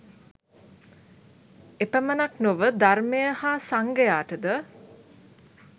එපමණක් නොව ධර්මය හා සංඝයාටද